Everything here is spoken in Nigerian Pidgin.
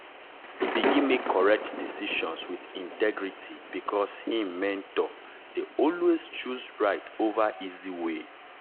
e begin make correct decisions with integrity because him mentor dey always choose right over easy way.